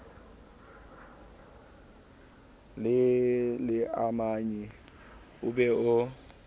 le leamanyi o be o